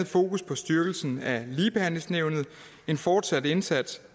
fokus på styrkelsen af ligebehandlingsnævnet en fortsat indsats